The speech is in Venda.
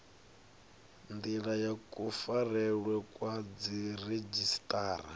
ndila ya kufarelwe kwa dziredzhisiṱara